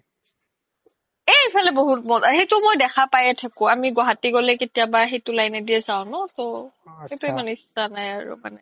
এই সিফালে মই দেখা পাইয়ে থাকো আমি গুৱাহাতি গ্'লে কেতিয়াবা সেইতো line নে দিয়ে যাও ন তো